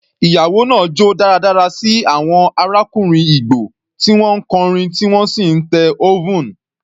Ìyàwó náà jó dáradára sí àwọn arákùnrin Igbo tí wọ́n ń kọrin tí wọ́n sì ń te oven.